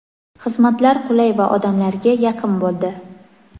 xizmatlar qulay va odamlarga yaqin bo‘ldi.